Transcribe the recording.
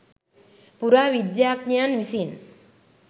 පුරාවිද්‍යාඥයන් විසින්